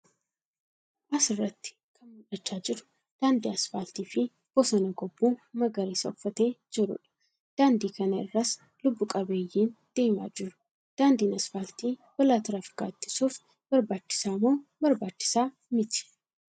As irratti kan mul'achaa jru daandii asfaaltii fi bosona gobbuu magariisa uffatee jiruu dha. Daandii kana irras lubbu qabeeyyiin deemaa jiru. Daandiin asfaaltii balaa tiraafikaa ittisuuf barbaachisaa moo barbaachisaa miti?